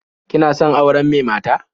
Kina son auren me mata?